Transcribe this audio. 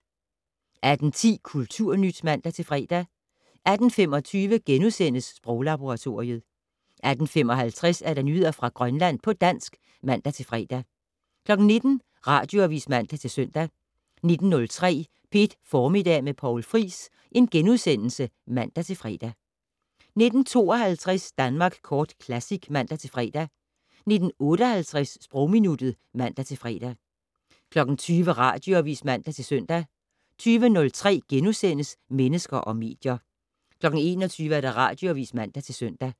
18:10: Kulturnyt (man-fre) 18:25: Sproglaboratoriet * 18:55: Nyheder fra Grønland på dansk (man-fre) 19:00: Radioavis (man-søn) 19:03: P1 Formiddag med Poul Friis *(man-fre) 19:52: Danmark Kort Classic (man-fre) 19:58: Sprogminuttet (man-fre) 20:00: Radioavis (man-søn) 20:03: Mennesker og medier * 21:00: Radioavis (man-søn)